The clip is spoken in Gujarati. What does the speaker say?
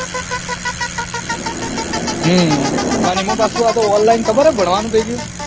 હમ અને એમાંપાછુ આ તો online ખબર હે ભણવાન થઇ ગયું